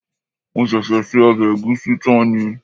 Mo ṣẹ̀ṣẹ̀ se ọbẹ̀ ẹ̀gúsí tán ni